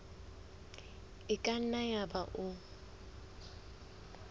e ka nna yaba o